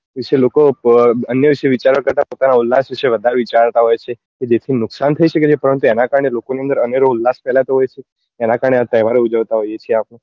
વિશે લોકો અન્ય વિશે વિચારવા કરતા પોતાના ઉલ્લાસ વિશે વધારે વિચરતા હોય છે તો દેશ નું નુકસાન થઇ સકે છે પરંતુ એના કારણે લોકો ના અંદર અનેરો ઉલ્લાસ ફેલાતો હોય છે એના કારણે આ તહેવાર ઉજવતા હોઈએ છીએ આપડે